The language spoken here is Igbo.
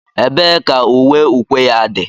Ebee ka uwe ukwe ya dị?